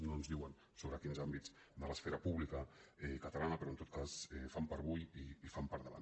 no ens diuen sobre quins àm·bits de l’esfera pública catalana però en tot cas fam per avui i fam per davant